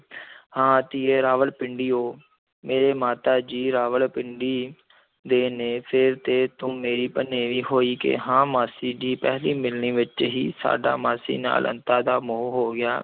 ਹਾਂ ਧੀਏ, ਰਾਵਲਪਿੰਡੀਓ ਮੇਰੇ ਮਾਤਾ ਜੀ ਰਾਵਲਪਿੰਡੀ ਦੇ ਨੇ, ਫਿਰ ਤੇ ਤੂੰ ਮੇਰੀ ਭਣੇਵੀਂ ਹੋਈ ਕਿ ਹਾਂ, ਮਾਸੀ ਜੀ, ਪਹਿਲੀ ਮਿਲਨੀ ਵਿੱਚ ਹੀ ਸਾਡਾ ਮਾਸੀ ਨਾਲ ਅੰਤਾਂ ਦਾ ਮੋਹ ਹੋ ਗਿਆ।